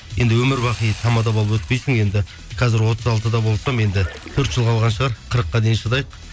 енді өмірбақи тамада болып өтпейсің енді қазір отыз алтыда болсам енді төрт жыл қалған шығар қырыққа дейін шыдайық